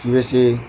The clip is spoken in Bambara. K'i be se